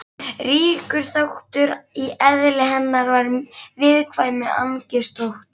Ríkur þáttur í eðli hennar var viðkvæmni, angist og ótti.